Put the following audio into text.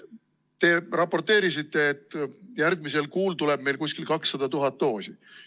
Te raporteerisite, et järgmisel kuul tuleb meile umbes 200 000 doosi.